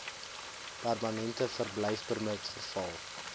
permanente verblyfpermit verval